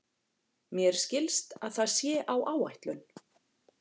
Mér skilst að það sé á áætlun.